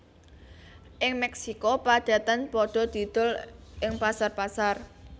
Ing Mexico padatan padha didol ing pasar pasar